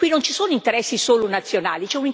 Qui non ci sono interessi solo nazionali